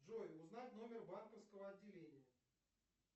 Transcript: джой узнать номер банковского отделения